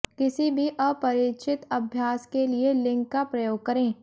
किसी भी अपरिचित अभ्यास के लिए लिंक का प्रयोग करें